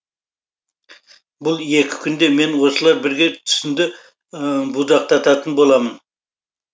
бұл екі күнде мен осылар бірге түсінді будақтататын боламын